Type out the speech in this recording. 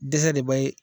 Dɛsɛ de b'a ye